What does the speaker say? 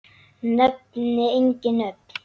Nefni engin nöfn.